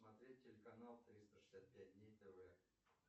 смотреть телеканал триста шестьдесят пять дней тв